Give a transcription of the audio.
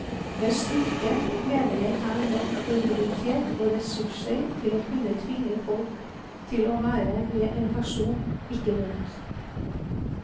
Med styrke mener jeg her nok autoritet og ressurser til å kunne tvinge folk til å være med en person, ikke mot.